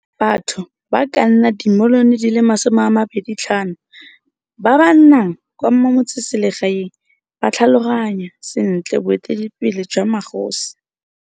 Batho ba ka nna dimilione di le 25 ba ba nnang kwa metseselegaeng ba tlhaloganya sentle boeteledipele jwa magosi.